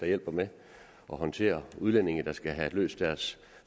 hjælper med at håndtere udlændinge der skal have løst deres